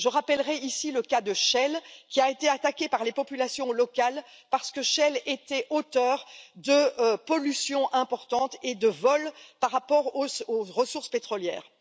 Je rappellerai ici le cas de Shell qui a été attaqué par les populations locales parce que Shell était auteur de pollution importante et de vols par rapport aux ressources pétrolières.